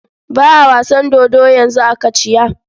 Ba a wasan dodo yanzu a Kachiya.